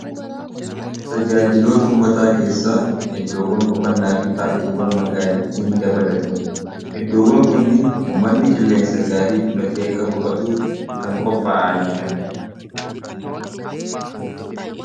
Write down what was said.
tajaajiloota uummataa keessa iddoowwan boqannaa fi paarkiiwwan magaalattii ni dabalatu iddoowwan kunniin ummanni qilleensa gaarii fudhatee akka boqatuuf kan qopha'aniidha